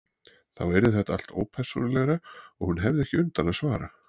Þá yrði þetta allt ópersónulegra og hún hefði ekki undan að svara.